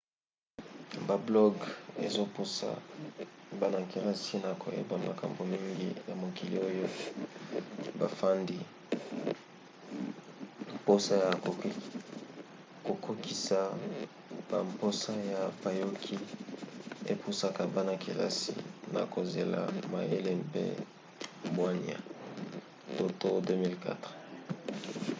bablogs ezopusa bana-kelasi na koyeba makambo mingi ya mokili oyo bafandi. mposa ya kokokisa bamposa ya bayoki epusaka bana-kelasi na kozala mayele mpe bwania toto 2004